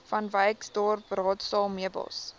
vanwyksdorp raadsaal meubels